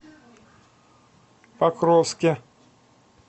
покровске